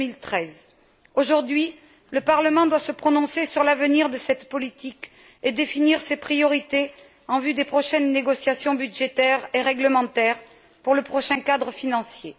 et 2013. Aujourd'hui, le Parlement doit se prononcer sur l'avenir de cette politique et définir ses priorités en vue des prochaines négociations budgétaires et réglementaires pour le prochain cadre financier.